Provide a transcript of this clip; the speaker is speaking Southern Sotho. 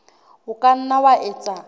o ka nna wa etsa